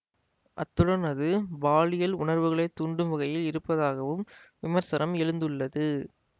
அத்துடன் அது பாலியல் உணர்வுகளைத் தூண்டும் வகையில் இருப்பதாகவும் விமர்சனம் எழுந்துள்ளது